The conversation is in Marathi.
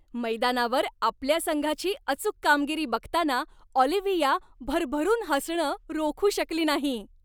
मैदानावर आपल्या संघाची अचूक कामगिरी बघताना ऑलिव्हिया भरभरून हसणं रोखू शकली नाही.